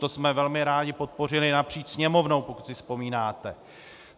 To jsme velmi rádi podpořili napříč Sněmovnou, pokud si vzpomínáte.